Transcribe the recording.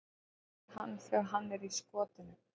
Hann rífur í hann þegar hann er í skotinu.